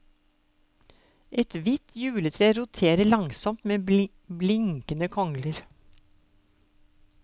Et hvitt juletre roterer langsomt med blinkende kongler.